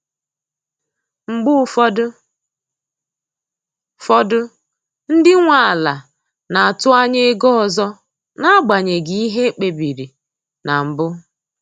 Mgbe ụfọdụ fọdụ ndị nwe ala na-atụ anya ego ọzọ n’agbanyeghị ihe ekpe biri na mbụ.